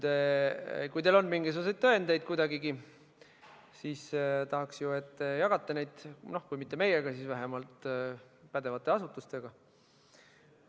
Kui teil on mingisuguseid tõendeid kuidagigi, siis tahaks ju, et te jagaksite neid, kui ka mitte meiega, siis vähemalt pädevate asutustega.